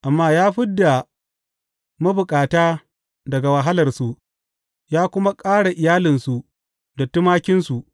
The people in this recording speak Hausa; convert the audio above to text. Amma ya fid da mabukata daga wahalarsu ya kuma ƙara iyalansu da tumakinsu.